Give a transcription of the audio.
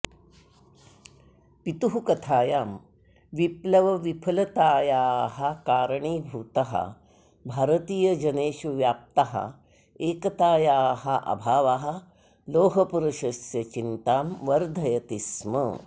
पितुः कथायां विप्लवविफलतायाः कारणीभूतः भारतीयजनेषु व्याप्तः एकतायाः अभावः लोहपुरुषस्य चिन्तां वर्धयति स्म